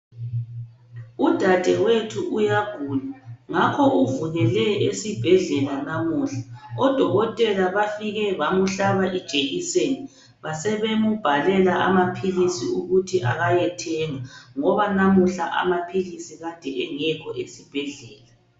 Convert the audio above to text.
Udadewethu uyagula. Ngakho uvukele esibhedlela lamuhla. Odokotela bafike bamhlaba ijekiseni. Basebembhalela amaphilisi ukuthi ayethenga, ngoba lamuhla amaphilisi abengekho esibhedlela.